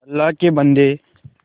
अल्लाह के बन्दे